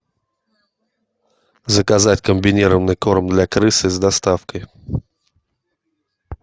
заказать комбинированный корм для крысы с доставкой